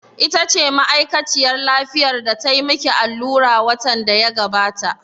Ita ce ma'aikaciyar lafiyar da tayi ma ki allura watan da ya gabata?